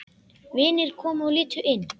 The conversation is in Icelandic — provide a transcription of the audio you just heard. Vinir komu og litu inn.